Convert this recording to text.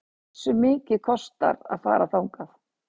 Hversu mikið kostar að fara þangað?